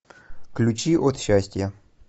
ключи от счастья